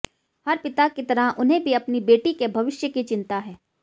हर पिता की तरह उन्हें भी अपनी बेटी के भविष्य की चिंता है